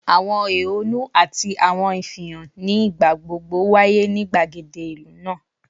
Awọn ehonu ati awọn ifihan ni igbagbogbo waye ni gbagede ilu naa